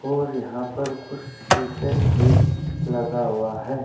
और यहां पर कुछ शीशे भी लगा हुआ है।